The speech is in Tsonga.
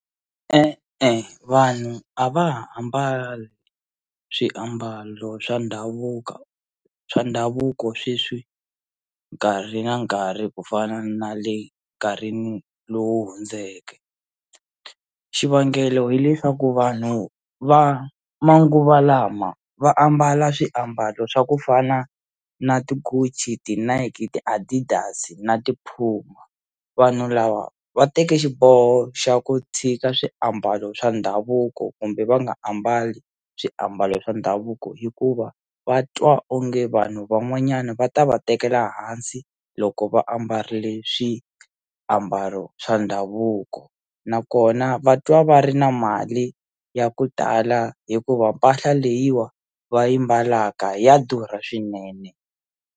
E-e vanhu a va ha ambali swiambalo swa ndhavuka swa ndhavuko sweswi nkarhi na nkarhi ku fana na le nkarhi lowu hundzeke xivangelo hileswaku vanhu va manguva lama va ambala swiambalo swa kufana na ti-Gucci ti-Nike na ti-Addidas na ti-Puma vanhu lava va teke xiboho xa ku tshika swiambalo swa ndhavuko kumbe va nga ambali swiambalo swa ndhavuko hikuva va twa onge vanhu van'wanyana va ta va tekela hansi loko va ambarile swiambalo swa ndhavuko nakona va twa va ri na mali ya ku tala hikuva mpahla leyiwa va yi mbalaka ya durha swinene.